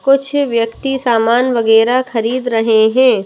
कुछ व्यक्ति सामान वगैरह खरीद रहे हैं।